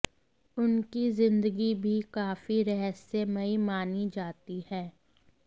उनकी जिंदगी भी काफी रहस्यमयी मानी जाती है